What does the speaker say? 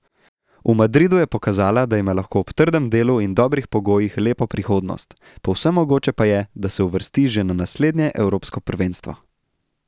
V Madridu je pokazala, da ima lahko ob trdem delu in dobrih pogojih lepo prihodnost, povsem mogoče pa je, da se uvrsti že na naslednje evropsko prvenstvo.